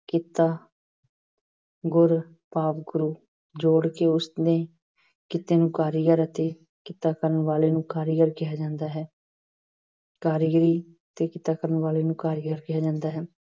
ਕਿੱਤਾ ਗੁਰ ਭਾਵ ਗੁਰੂ ਜੋੜ ਕੇ ਉਸ ਨੇ ਕਿੱਤੇ ਨੂੰ ਕਾਰੀਗਰ ਅਤੇ ਕਿੱਤਾ ਕਰਨ ਵਾਲੇ ਨੂੰ ਕਾਰੀਗਰ ਕਿਹਾ ਜਾਂਦਾ ਹੈ। ਕਾਰੀਗਰੀ ਤੇ ਕਿੱਤਾ ਕਰਨ ਵਾਲੇ ਨੂੰ ਕਾਰੀਗਰ ਕਿਹਾ ਜਾਂਦਾ ਹੈ।